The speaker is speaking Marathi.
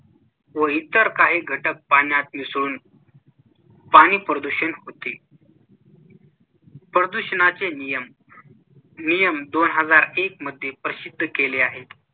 व इतर काही घटक पाण्यात मिसळून पाणी प्रदूषण होते प्रदूषणावरचे नियम नियम दोन हजार एक मध्ये प्रसिद्ध केले आहेत.